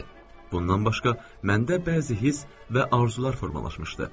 Bundan başqa, məndə bəzi hiss və arzular formalaşmışdı.